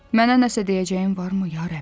Mənə nəsə deyəcəyin varmı, ya Rəbb?